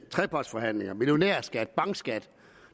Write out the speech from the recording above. trepartsforhandlinger millionærskat og bankskat